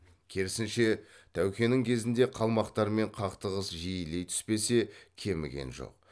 керісінше тәукенің кезінде қалмақтармен қақтығыс жиілей түспесе кеміген жоқ